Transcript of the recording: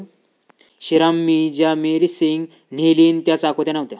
शिरामीं ज्या मिरसेंग न्हेलीन त्या चाकोते नव्हत्या.